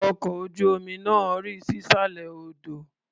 Ọkọ̀ ojú-omi náà rì sísàlẹ̀ odò.